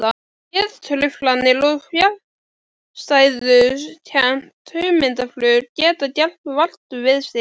Geðtruflanir og fjarstæðukennt hugmyndaflug geta gert vart við sig.